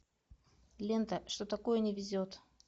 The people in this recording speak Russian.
лента что такое не везет